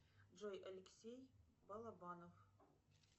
джой алексей балабанов